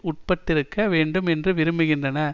உட்பட்டிருக்க வேண்டும் என்று விரும்புகின்றன